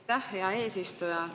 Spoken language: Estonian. Aitäh, hea eesistuja!